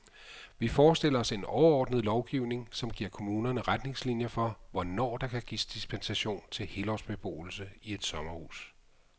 Vi forestiller os en overordnet lovgivning, som giver kommunerne retningslinier for, hvornår der kan gives dispensation til helårsbeboelse i et sommerhus.